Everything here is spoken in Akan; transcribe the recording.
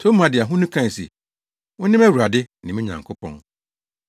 Toma de ahonu kae se, “Wo ne mʼAwurade ne me Nyankopɔn!”